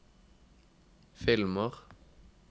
filmer